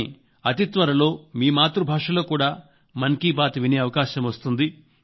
కానీ అతి త్వరలో మీ మాతృ భాషలో కూడా మన్ కీ బాత్ వినే అవకాశం వస్తుంది